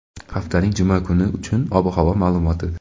haftaning juma kuni uchun ob-havo ma’lumoti.